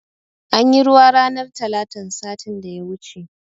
Anyi ruwa ranar talatan satin da ya wuce